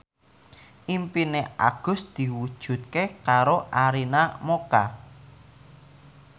impine Agus diwujudke karo Arina Mocca